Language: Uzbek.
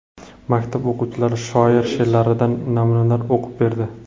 Maktab o‘quvchilari shoir she’rlaridan namunalar o‘qib berdi.